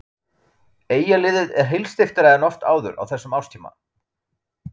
Eyjaliðið er heilsteyptara en oft áður á þessum árstíma.